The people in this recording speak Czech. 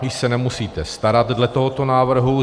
Již se nemusíte starat dle tohoto návrhu.